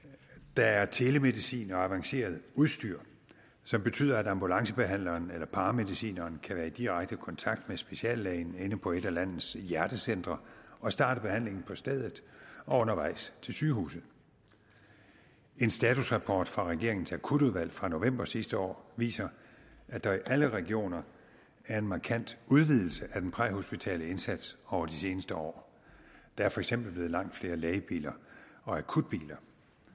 der er telemedicin og avanceret udstyr som betyder at ambulancebehandleren eller paramedicineren kan være i direkte kontakt med speciallægen inde på et af landets hjertecentre og starte behandlingen på stedet og undervejs til sygehuset en statusrapport fra regeringens akutudvalg fra november sidste år viser at der i alle regioner er en markant udvidelse af den præhospitale indsats over de seneste år der er for eksempel blevet langt flere lægebiler og akutbiler